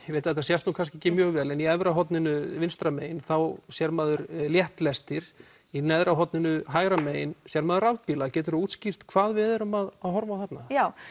ég veit að þetta sést kannski ekki mjög vel en í efra horninu vinstra megin þá sér maður létt lestir í neðra horninu hægra megin sér maður rafbíla getur þú útskýrt hvað við erum að horfa á þarna já